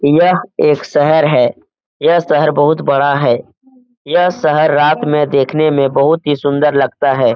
यह एक शहर है यह शहर बहुत बड़ा है यह शहर रात में देखने में बहुत ही सुंदर लगता है।